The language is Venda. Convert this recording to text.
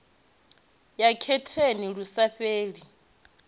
ya getheni lu sa fheli